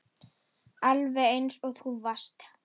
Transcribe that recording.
Alveg eins og þú varst.